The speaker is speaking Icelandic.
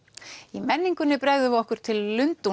í menningunni bregðum við okkur til